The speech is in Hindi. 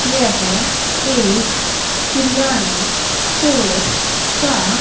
येह एक क्रियाना स्टोअर का--